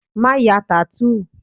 Má ya tattoo!